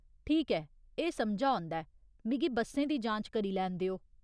ठीक ऐ, एह् समझा औंदा ऐ, मिगी बस्सें दी जांच करी लैन देओ।